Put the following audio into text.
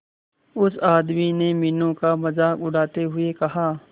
उस आदमी ने मीनू का मजाक उड़ाते हुए कहा